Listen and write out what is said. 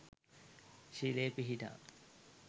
ශීලයේ පිහිටා